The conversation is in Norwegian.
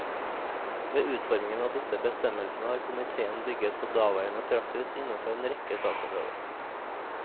Ved utformingen av disse bestemmelsene har komiteen bygget på daværende praksis innenfor en rekke saksområder.